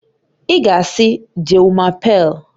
Ị ga-asị "Je m'apelle..."